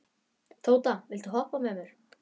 Tóta, viltu hoppa með mér?